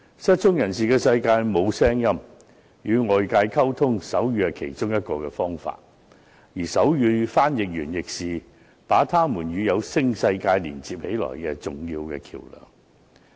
失聰人士的世界沒有聲音，要與外界溝通，手語是其中一個方法，而手語傳譯員亦是他們與有聲世界連接的重要橋樑。